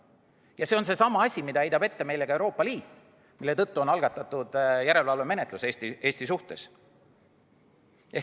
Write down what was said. Ja see on seesama asi, mida meile heidab ette ka Euroopa Liit, mille tõttu on algatatud järelevalvemenetlus Eesti suhtes.